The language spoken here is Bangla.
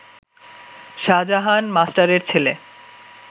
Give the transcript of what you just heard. শাজাহান মাস্টারের ছেলে